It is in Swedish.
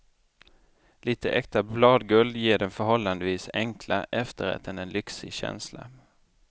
Lite äkta bladguld ger den förhållandevis enkla efterrätten en lyxig känsla.